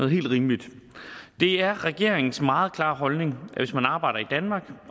helt rimeligt det er regeringens meget klare holdning at hvis man arbejder i danmark